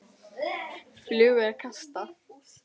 Flugu er kastað.